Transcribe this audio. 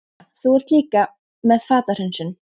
Brynja: Þú ert líka með fatahreinsun?